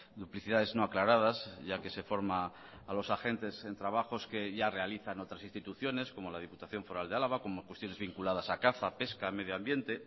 duplicidades no aclaradas ya que se forma a los agentes en trabajos que ya realizan otras instituciones como la diputación foral de álava como cuestiones vinculadas a caza pesca medio ambiente